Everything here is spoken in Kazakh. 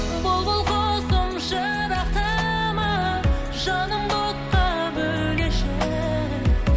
бұлбұл құсым жырақтама жанымды отқа бөлеші